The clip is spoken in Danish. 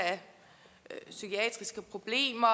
psykiske problemer